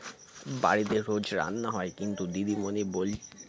বাড়িতে রোজ রান্না হয় কিন্তু দিদিমণি বল